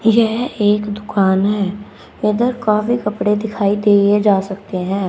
यह एक दुकान है। वह काफी उधर कपड़े दिखाई दिए जा सकते हैं।